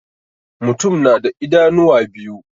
Mutum na da idanuwa biyu.